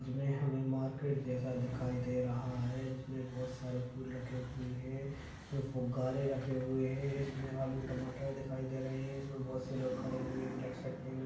इस में हमें मार्केट जैसा दिखाई दे रहा है जिसमें बहुत सारे फूल रखे हुए हैं इसमें फुग्गारे रखे हुए हैं इसमें आलू टमाटर दिखाई दे रहे हैं इसमें बहुत से लोग खड़े हुए ब्लैक शर्ट पहने--